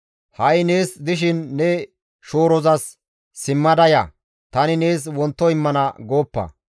Ha7i nees dishin ne shoorozas, «Simmada ya; tani nees wonto immana» gooppa.